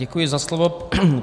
Děkuji za slovo.